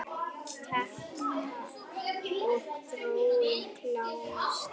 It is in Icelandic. Kempa og Þróun kljást.